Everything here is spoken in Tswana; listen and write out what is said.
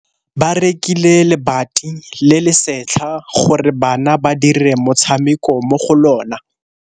Ba rekile lebati le le setlha gore bana ba dire motshameko mo go lona.